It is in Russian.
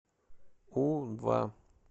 у два